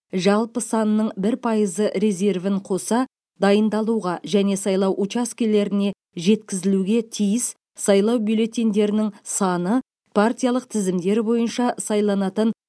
жалпы санының бір пайызы резервін қоса дайындалуға және сайлау учаскелеріне жеткізілуге тиіс сайлау бюллетеньдерінің саны партиялық тізімдер бойынша сайланатын